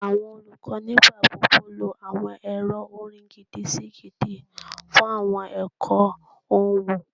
Awọn olukọ nigbagbogbo lo awọn ẹrọ orin gidi-si-gidi fun awọn ẹkọ ohun